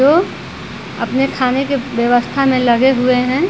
जो अपने खाने की व्यवस्था में लगे हुए हैं ।